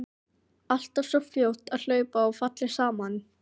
Alltaf svo fljót að hlaupa og falleg saman.